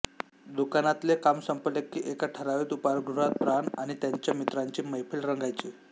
दुकानातले काम संपले की एका ठरावीक उपाहारगृहात प्राण आणि त्यांच्या मित्रांची मैफिल रंगायची